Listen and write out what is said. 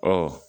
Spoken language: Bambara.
Ɔ